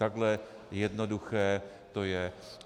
Takhle jednoduché to je.